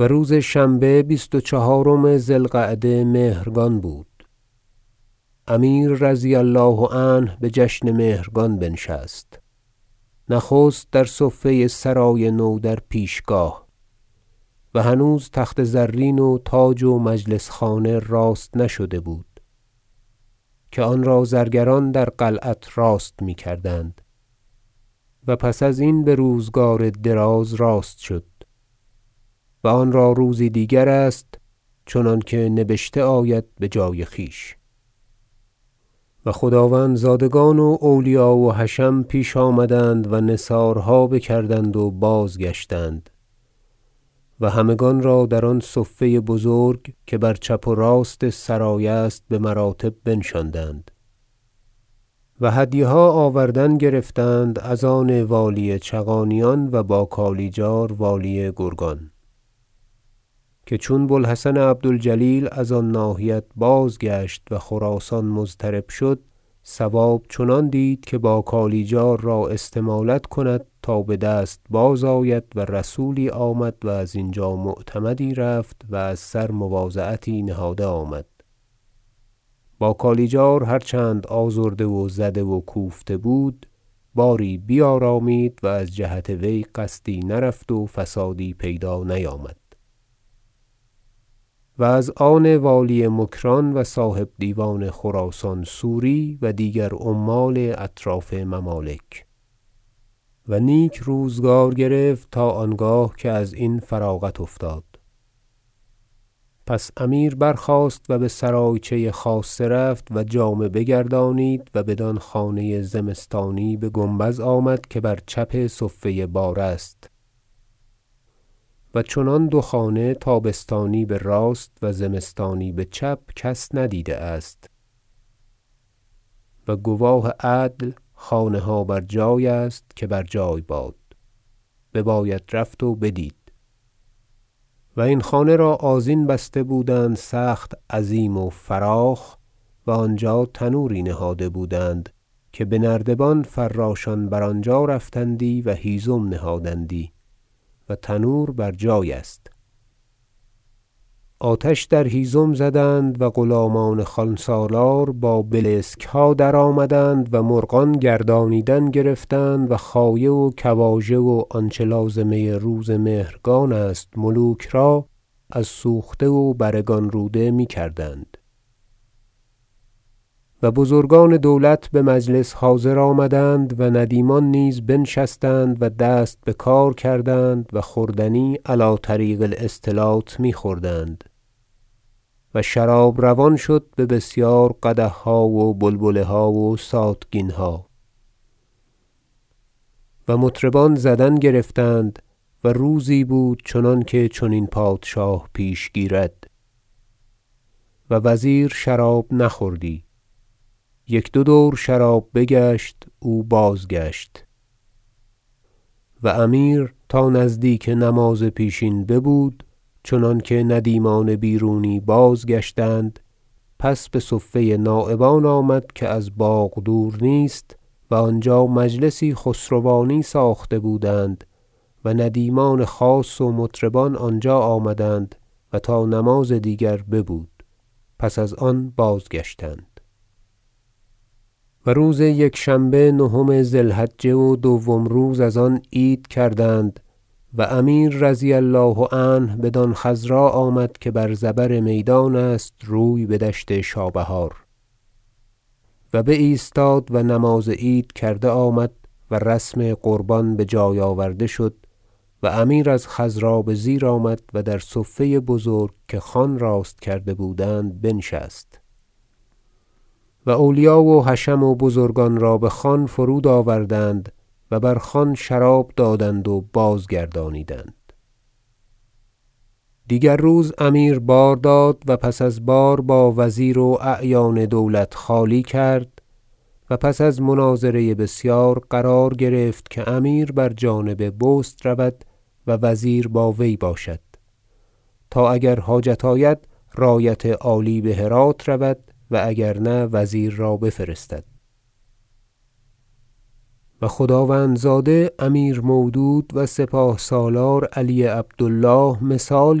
و روز شنبه بیست و چهارم ذی القعده مهرگان بود امیر رضی الله عنه بجشن مهرگان بنشست نخست در صفه سرای نو در پیشگاه و هنوز تخت زرین و تاج و و مجلس خانه راست نشده بود که آن را زرگران در قلعت راست میکردند و پس از این بروزگار دراز راست شد و آن را روزی دیگرست چنانکه نبشته آید بجای خویش و خداوندزادگان و اولیا و حشم پیش آمدند و نثارها بکردند و بازگشتند و همگان را در آن صفه بزرگ که بر چپ و راست سرای است بمراتب بنشاندند و هدیه ها آوردن گرفتند از آن والی چغانیان و با کالیجار والی گرگان- که چون بو الحسن عبد الجلیل از آن ناحیت بازگشت و خراسان مضطرب شد صواب چنان دید که با کالیجار را استمالت کند تا بدست بازآید و رسولی آمد و از اینجا معتمدی رفت و از سر مواضعتی نهاده آمد با کالیجار هر چند آزرده و زده و کوفته بود باری بیارامید و از جهت وی قصدی نرفت و فسادی پیدا نیامد- و از آن والی مکران و صاحب دیوان خراسان سوری و دیگر عمال اطراف ممالک و نیک روزگار گرفت تا آنگاه که ازین فراغت افتاد پس امیر برخاست و بسرایچه خاصه رفت و جامه بگردانید و بدان خانه زمستانی بگنبد آمد که بر چپ صفه بار است- و چنان دو خانه تابستانی براست و زمستانی بچپ کس ندیده است و گواه عدل خانه ها بر جای است که بر جای باد بباید رفت و بدید- و این خانه را آذین بسته بودند سخت عظیم و فراخ و آنجا تنور ی نهاده بودند که بنردبان فراشان بر آنجا رفتندی و هیزم نهادندی و تنور بر جای است آتش در هیزم زدند و غلامان خوانسالار با بلسکها درآمدند و مرغان گردانیدن گرفتند و خایه و کواژه و آنچه لازمه روز مهرگان است ملوک را از سوخته و برگان روده میکردند و بزرگان دولت بمجلس حاضر آمدند و ندیمان نیز بنشستند و دست بکار کردند و خوردنی علی طریق الاستلات میخوردند و شراب روان شد به بسیار قدحها و بلبله ها و ساتگینها و مطربان زدن گرفتند و روزی بود چنان که چنین پادشاه پیش گیرد و وزیر شراب نخوردی یک دو دور شراب بگشت او بازگشت و امیر تا نزدیک نماز پیشین ببود چندانکه ندیمان بیرونی بازگشتند پس بصفه نایبان آمد که از باغ دور نیست و آنجا مجلسی خسروانی ساخته بودند و ندیمان خاص و مطربان آنجا آمدند و تا نماز دیگر ببود پس از آن بازگشتند و روز یکشنبه نهم ذی الحجة و دوم روز از آن عید کردند و امیر رضی الله عنه بدان خضرا آمد که بر زبر میدان است و روی بدشت شابهار و بایستاد و نماز عید کرده آمد و رسم قربان بجای آورده شد و امیر از خضرا بزیر آمد و در صفه بزرگ که خوان راست کرده بودند بنشست و اولیا و حشم و بزرگان را بخوان فرود آوردند و بر خوان شراب دادند و بازگردانیدند دیگر روز امیر بار داد و پس از بار با وزیر و اعیان دولت خالی کرد و پس از مناظره بسیار قرار گرفت که امیر بر جانب بست رود وزیر با وی باشد تا اگر حاجت آید رایت عالی بهرات رود و اگر نه وزیر را بفرستد و خداوندزاده امیر مودود و سپاه سالار علی عبد الله مثال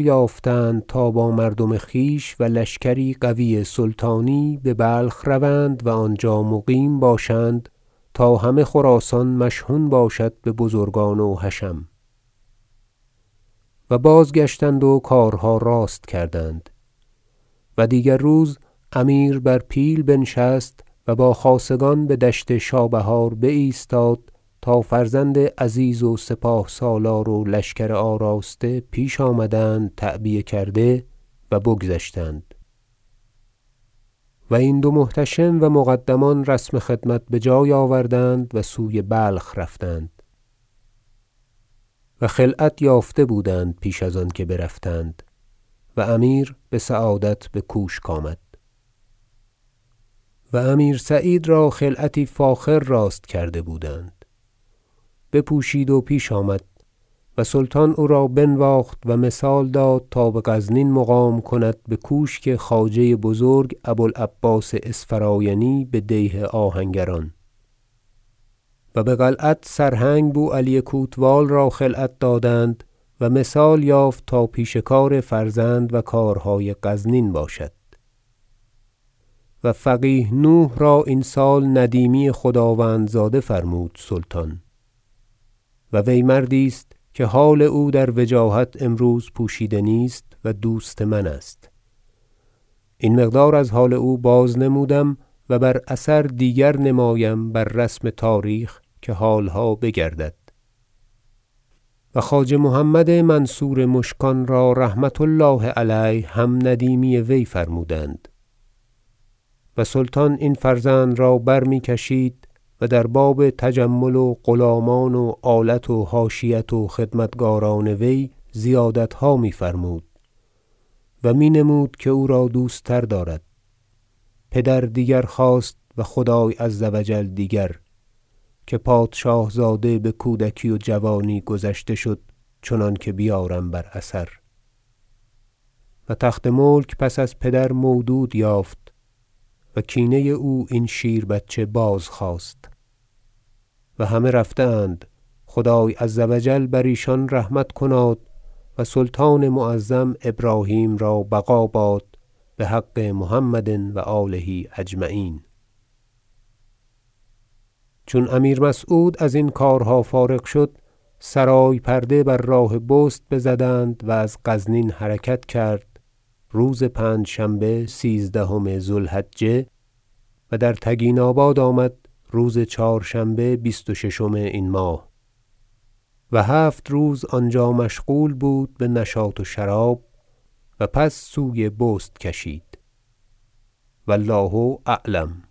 یافتند تا با مردم خویش و لشکری قوی سلطانی ببلخ روند و آنجا مقیم باشند تا همه خراسان مشحون باشد ببزرگان و حشم و بازگشتند و کارها راست کردند و دیگر روز امیر بر پیل نشست و با خاصگان بدشت شابهار بایستاد تا فرزند عزیز و سپاه سالار و لشکر آراسته پیش آمدند تعبیه کرده و بگذشتند و این دو محتشم و مقدمان رسم خدمت بجای آوردند و سوی بلخ رفتند- و خلعت یافته بودند پیش از آنکه برفتند- و امیر بسعادت بکوشک آمد و امیر سعید را خلعتی فاخر راست کرده بودند بپوشید و پیش آمد و سلطان او را بنواخت و مثال داد تا بغزنین مقام کند بکوشک خواجه بزرگ ابو العباس اسفرایینی بدیه آهنگران و بقلعت سرهنگ بوعلی کوتوال را خلعت دادند و مثال یافت تا پیش کار فرزند و کارهای غزنین باشد و فقیه نوح را این سال ندیمی خداوند- زاده فرمود سلطان و وی مردی است که حال او در وجاهت امروز پوشیده نیست و دوست من است این مقدار از حال او بازنمودم و بر اثر دیگر نمایم بر رسم تاریخ که حالها بگردد و خواجه محمد منصور مشکان را رحمة الله علیه هم ندیمی وی فرمودند سلطان این فرزند را برمیکشید و در باب تجمل و غلامان و آلت و حاشیت و خدمتگاران وی زیادتها میفرمود و می نمود که او را دوست تر دارد پدر دیگر خواست و خدای عز و جل دیگر که پادشاه زاده بکودکی و جوانی گذشته شد چنانکه بیارم بر اثر و تخت ملک پس از پدر مودود یافت و کینه او این شیربچه بازخواست و همه رفته اند خدای عز و جل بر ایشان رحمت کناد و سلطان معظم ابراهیم را بقا باد بحق محمد و آله اجمعین چون امیر مسعود ازین کارها فارغ شد سرای پرده بر راه بست بزدند و از غزنین حرکت کرد روز پنجشنبه سیزدهم ذو الحجه و در تگین آباد آمد روز چهار- شنبه بیست و ششم این ماه و هفت روز آنجا مشغول بود بنشاط و شراب و پس سوی بست کشید و الله اعلم